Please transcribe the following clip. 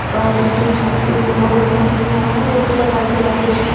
बाहर जो छत पे येल्लो कलर का किया हुआ है औऱ ऊपर लाइटे वाइटे दिख रही--